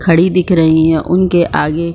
खड़ी दिख रही है उनके आगे।